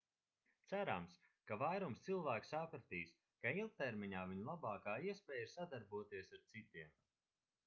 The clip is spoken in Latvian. cerams ka vairums cilvēku sapratīs ka ilgtermiņā viņu labākā iespēja ir sadarboties ar citiem